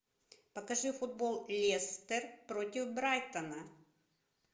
покажи футбол лестер против брайтона